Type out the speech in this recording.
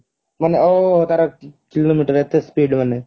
ମାନେ ତାର kilo meter ଏତେ speed ମାନେ